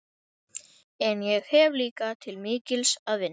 En ég hef líka til mikils að vinna.